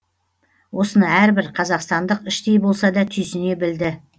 осыны әрбір қазақстандық іштей болса да түйсіне білді